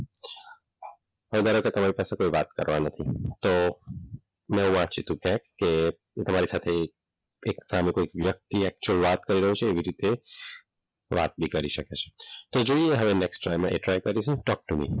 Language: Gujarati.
હવે ધારો કે તમારી પાસે કોઈ વાત કરવા નથી તો મેં એવું વાંચ્યું હતું. કે તમારી સાથે કે તમારી સાથે સામે કોઈ વ્યક્તિ actual વાત કરી રહ્યો છે એવી રીતે વાત બી કરી શકે છે એ જોઈએ talk to me